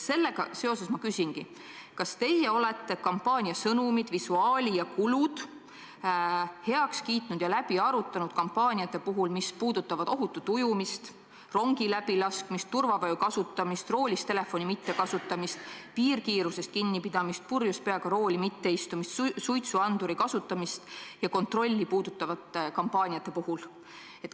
Sellega seoses ma küsingi: kas teie olete kampaania sõnumid, visuaali ja kulud heaks kiitnud ja läbi arutanud kampaaniate puhul, mis puudutavad ohutut ujumist, rongi läbilaskmist, turvavöö kasutamist, roolis telefoni mitte kasutamist, piirkiirusest kinnipidamist, purjus peaga rooli mitte istumist, suitsuanduri kasutamist ja kontrolli?